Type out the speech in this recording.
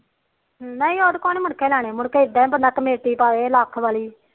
ਨਹੀ ਉਹਦੇ ਕੋਲੋ ਨੀ ਮੁੜ ਕੇ ਲੈਣੇ ਮੁੜਕੇ ਇਦਾ ਬੰਦਾ ਕਮੇਟੀ ਪਾਵੇ ਲੱਖ ਵਾਲੀ